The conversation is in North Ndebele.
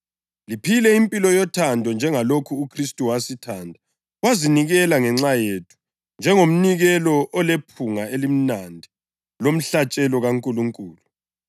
liphile impilo yothando, njengalokhu uKhristu wasithanda wazinikela ngenxa yethu njengomnikelo olephunga elimnandi lomhlatshelo kaNkulunkulu.